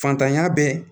Fantanya bɛ